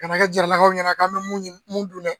Kana kɛ jaralakaw ɲɛna k'an bɛ mun dun dɛ.